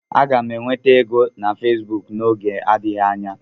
Aga m enweta ego na Facebook n'oge adịghị anya.